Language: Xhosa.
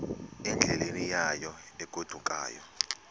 endleleni yayo egodukayo